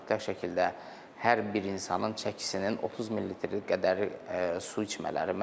Mütləq şəkildə hər bir insanın çəkisinin 30 ml qədəri su içmələri.